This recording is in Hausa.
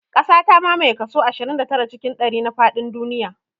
Ƙasa ta mamaye kaso ashirin da tara cikin ɗari na faɗin duniya